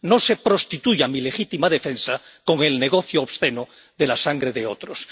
No se prostituya mi legítima defensa con el negocio obsceno de la sangre de otros.